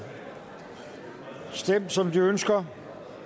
stemt som de ønsker